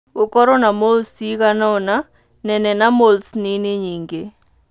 Gũkorũo na moles ciĩgana ũna nene na moles nini nyingĩ.